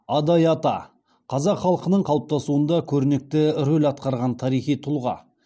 адай ата қазақ халқының қалыптасуында көрнекті рөл атқарған тарихи тұлға